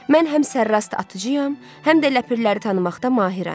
Mən həm sərrast atıcıyam, həm də ləpirləri tanımaqda mahirəm.